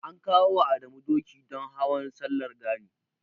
An kawo wa Adamu doki don Hawan Sallar Gani.